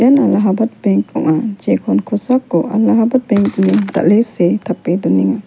allahabat benk ong·a jekon kosako allahabat benk ine dal·e see tape donenga.